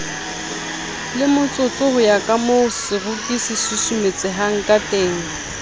lemotsotso ho ya kamooseroki sesusumetsehangkateng